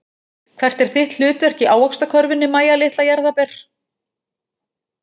Hvert er þitt hlutverk í ávaxtakörfunni Mæja litla jarðarber?